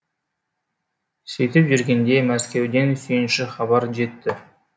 сөйтіп жүргенде мәскеуден сүйінші хабар жетті